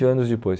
anos depois.